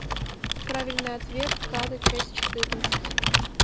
правильный ответ када часть четырнадцать